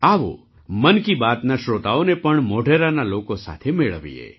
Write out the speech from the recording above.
આવો મન કી બાતના શ્રોતાઓને પણ મોઢેરાના લોકો સાથે મેળવીએ